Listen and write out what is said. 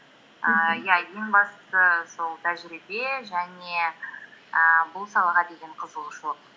ііі иә ең бастысы сол тәжірибе және ііі бұл салаға деген қызығушылық